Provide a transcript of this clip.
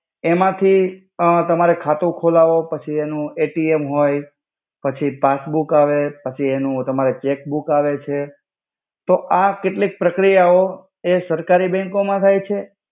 એમાથુ અ તમારે ખાતુ ખોલાવો પાછી એનુ એટીએમ હોય પાછી પાસ્સ્બૂક આવે પછી એનુ તમારે ચેક્બૂક આવે છે. તો આ કેટ્લિક પ્રક્રિયાઓ સરકારિ બેંકો મા થાય છે.